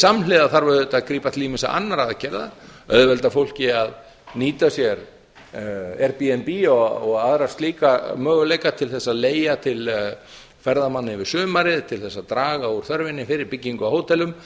samhliða þarf auðvitað að grípa til ýmissa annarra aðgerða auðvelda fólki að nýta sér airbnb og aðra slíka möguleika til þess að leigja til ferðamanna yfir sumarið til þess að draga úr þörfinni fyrir byggingu á hótelum